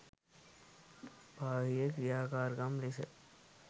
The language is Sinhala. බාහිර ක්‍රියාකාරකම් ලෙස